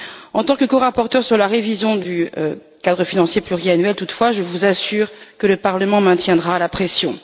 En tant que corapporteure sur la révision du cadre financier pluriannuel, toutefois, je vous assure que le Parlement maintiendra la pression.